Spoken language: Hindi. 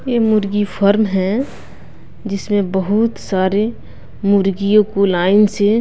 ये मुर्गी फर्म है जिसमें बहुत सारे मुर्गियों को लाइन से।--